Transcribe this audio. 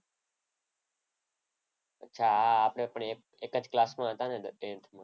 અચ્છા આપણે એક જ ક્લાસમાં હતા ને